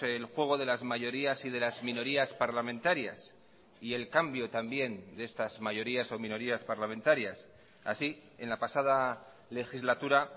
el juego de las mayorías y de las minorías parlamentarias y el cambio también de estas mayorías o minorías parlamentarias así en la pasada legislatura